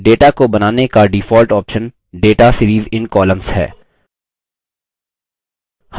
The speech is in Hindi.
data को बनाने का default option data series in columns है